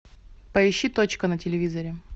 поищи точка на телевизоре